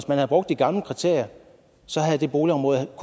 man havde brugt de gamle kriterier havde det boligområde